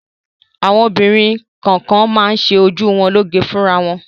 Àwọn obìnrin kọ̀ọ̀kan máa ń ṣe ojú wọn lóge fúnra wọn.